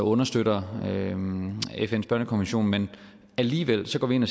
understøtter fns børnekonvention men alligevel går vi ind og